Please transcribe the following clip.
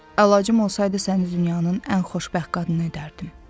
Əlacım olsaydı səni dünyanın ən xoşbəxt qadını edərdim.